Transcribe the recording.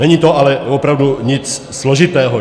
Není to ale opravdu nic složitého.